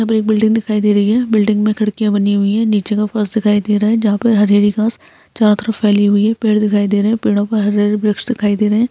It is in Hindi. यहां पर एक बिल्डिंग दिखाई दे रही है बिल्डिंग में खिड़कियां बनी हुई है नीचे फर्श दिखाई दे रहा है जहां पर हरी-हरी घास चारों तरफ फैली हुई है पेड़ दिखाई दे रहे हैं पेड़ो पर हरे-हरे वृक्ष दिखाई दे रहे है।